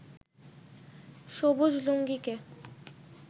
সবুজ লুঙ্গিকে